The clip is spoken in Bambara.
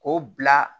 K'o bila